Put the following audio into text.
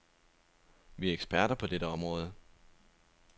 Vi er eksperter på dette område.